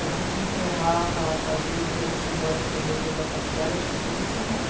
É, a gente enterrava, fazia enterro simbólico do reitor da faculdade, acho que toda semana.